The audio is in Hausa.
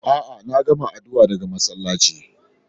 Aa, na gamma addu'a daga masallaci.